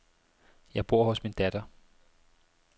Jeg bor hos min datter.